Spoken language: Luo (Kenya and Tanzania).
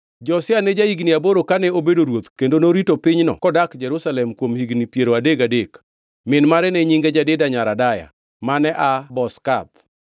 Josia ne ja-higni aboro kane obedo ruoth kendo norito pinyno kodak Jerusalem kuom higni piero adek gachiel. Min mare ne nyinge Jedida nyar Adaya, mane aa Bozkath.